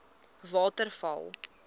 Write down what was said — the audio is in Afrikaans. waterval